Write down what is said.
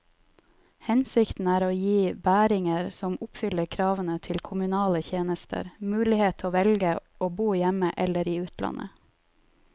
Hensikten er å gi bæringer som oppfyller kravene til kommunale tjenester, mulighet til å velge å bo hjemme eller i utlandet.